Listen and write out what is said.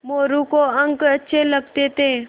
मोरू को अंक अच्छे लगते थे